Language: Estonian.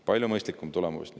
Palju mõistlikum tulemus!